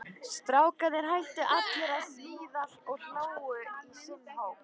Strákarnir hættu allir að smíða og hlógu í sinn hóp.